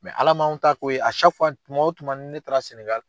Ala m'an ta k'o ye tuma o tuma ni ne taara Sɛnɛgali.